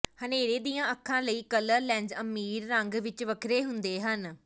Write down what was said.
ਹਨੇਰੇ ਦੀਆਂ ਅੱਖਾਂ ਲਈ ਕਲਰ ਲੈਂਜ਼ ਅਮੀਰ ਰੰਗ ਵਿਚ ਵੱਖਰੇ ਹੁੰਦੇ ਹਨ